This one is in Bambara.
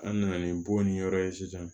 An nana ni bon ni yɔrɔ ye sisan